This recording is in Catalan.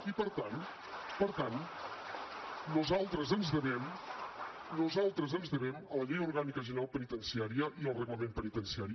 i per tant nosaltres ens devem a la llei orgànica general penitenciària i al reglament penitenciari